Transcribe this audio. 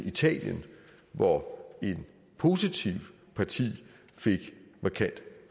italien hvor et positivt parti fik markant